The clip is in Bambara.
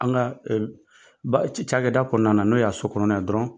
An ka ba ca kɛ da kɔnɔna na n'o y'a so kɔnɔna dɔrɔn.